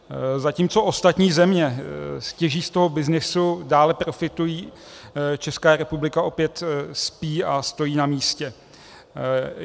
Zatímco ostatní země těží z toho byznysu, dále profitují, Česká republika opět spí a stojí na místě.